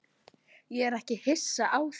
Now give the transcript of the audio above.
Ég er ekki hissa á því.